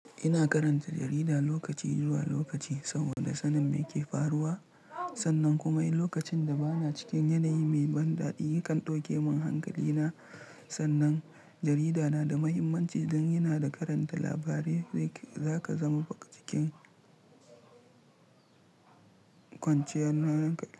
Ina karanta jarida lokaci zuwa lokaci saboda sanin me ke faruwa. Sannan kuma in lokacin da bana cikin yanayi mai ban daɗi kan ɗauke min hankali na. Sannan jarida na da mahimmanci don yana karanta labarai. Zaka zama cikin kwanciyar hankali.